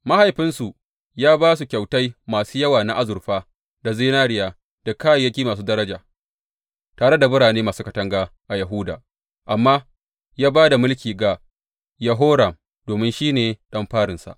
Mahaifinsu ya ba su kyautai masu yawa na azurfa da zinariya da kayayyaki masu daraja, tare da birane masu katanga a Yahuda, amma ya ba da mulki ga Yehoram domin shi ne ɗan farinsa.